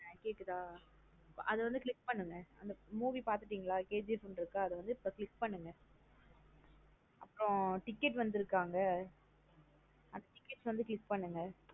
ஆஹ் கேக்குதா அதா வந்து click பண்ணுங்க movie பாத்துடிங்களா KGF னு இருக்க. அதா வந்து இப்ப click பண்ணுங்க அப்றோம் ticket வந்தருக்க அங்க . அந்த ticket வந்து click பண்ணுங்க.